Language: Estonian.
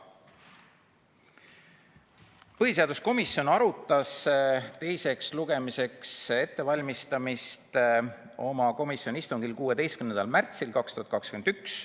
Põhiseaduskomisjon arutas eelnõu teiseks lugemiseks ettevalmistamist oma istungil 16. märtsil 2021.